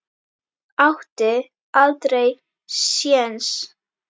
Átti aldrei sjens.